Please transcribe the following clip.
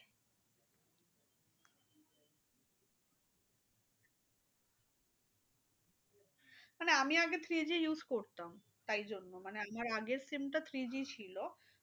মানে আমি আগে three G use করতাম তাই জন্য। মানে আমার আগের SIM টা three G ছিল।